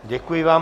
Děkuji vám.